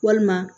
Walima